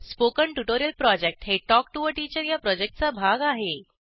spoken tutorial project हे talk to teacher या प्रॉजेक्टचा भाग आहे